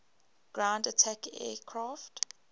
ground attack aircraft